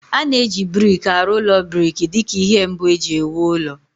A na-eji brik arụ ụlọ brik dị ka ihe mbụ e ji ewu ụlọ